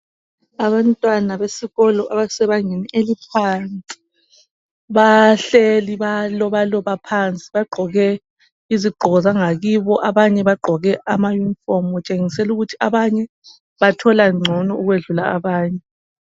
Abantwana besikolo abasebangeni eliphansi bahleli, bayalobaloba phansi .Bagqoke izigqoko zangakibo, abanye bagqoke amayunifomu. Kutshengisela ukuthi abanye bathola ngcono ukwedlula abanye.